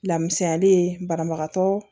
Lamusayali ye banabagatɔ